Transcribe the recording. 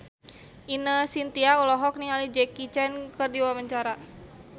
Ine Shintya olohok ningali Jackie Chan keur diwawancara